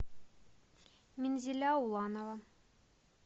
минзиля уланова